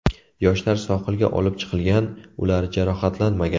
Yoshlar sohilga olib chiqilgan, ular jarohatlanmagan.